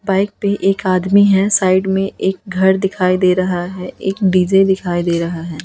Bike पे एक आदमी है साइड में एक घर दिखाई दे रहा है एक डी_जे दिखाई दे रहा है।